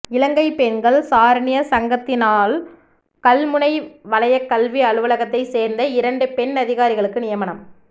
இலங்கை பெண்கள் சாரணிய சங்கத்தினால்கல்முனை வலயக் கல்வி அலுவலகத்தை சேர்ந்த இரண்டு பெண் அதிகாரிகளுக்கு நியமனம்